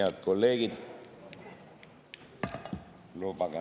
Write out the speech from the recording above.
Head kolleegid!